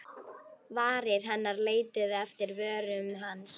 Varir hennar leituðu eftir vörum hans.